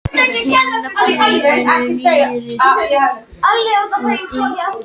Hin nöfnin eru nýrri og eiga sér nokkuð skýran uppruna.